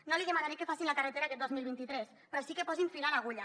no li demanaré que facin la carretera aquest dos mil vint tres però sí que posin fil a l’agulla